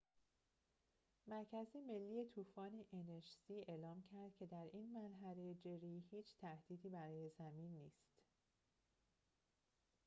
مرکز ملی طوفان nhc اعلام کرد که در این مرحله جری هیچ تهدیدی برای زمین نیست